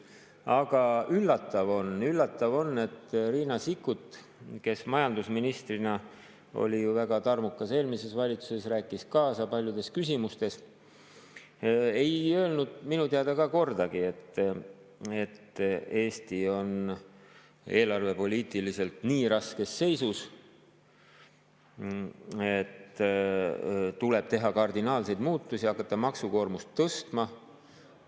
Aga üllatav on, et Riina Sikkut, kes majandusministrina oli ju eelmises valitsuses väga tarmukas, rääkis kaasa paljudes küsimustes, ei öelnud minu teada kordagi, et Eesti on eelarvepoliitiliselt nii raskes seisus, et tuleb teha kardinaalseid muudatusi ja hakata maksukoormust tõstma.